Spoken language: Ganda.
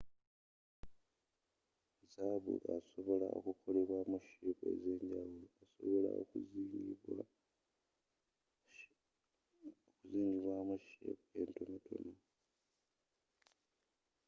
zaabu asobola okukolebwaamu sheepu ezenjawulo asobola okuzinga zingibwaamu sheepu entonotono